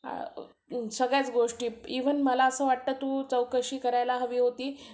सगळ्याच गोष्टी, इव्हन मला असं वाटतं, तू चौकशी करायला हवी होती